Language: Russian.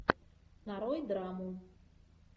нарой драму